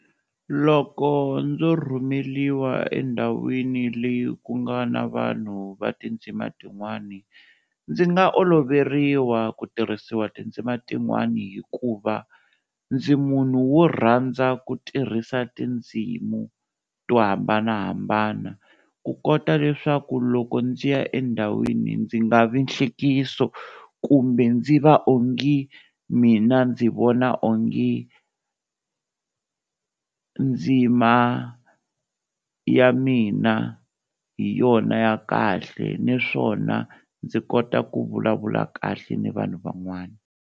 Loko ndzo rhumeliwa endhawini leyi ku nga na vanhu va tindzima tin'wani, ndzi nga oloveriwa ku tirhisiwa tindzima tin'wana hikuva ndzi munhu wo rhandza ku tirhisa tindzimu to hambanahambana ku kota leswaku loko ndzi ya endhawini ndzi nga vi nhlekiso, kumbe ndzi va ongi mina ndzi vona onge ndzima ya mina hi yona ya kahle naswona ndzi kota ku vulavula kahle ni vanhu van'wana.